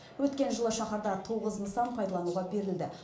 өткен жылы шаһарда тоғыз нысан пайдалануға берілді